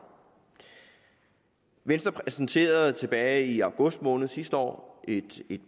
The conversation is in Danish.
venstre præsenterede tilbage i august måned sidste år et